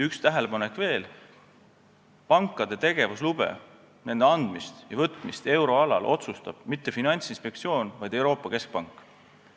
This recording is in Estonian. Üks tähelepanek veel: pankade tegevuslube, nende andmist ja võtmist euroalal ei otsusta mitte Finantsinspektsioon, vaid Euroopa Keskpank.